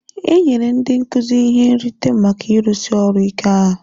E nyere ndị nkuzi ihe nrite maka ịrụsi ọrụ ike ha.